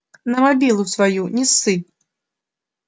на мобилу свою не ссы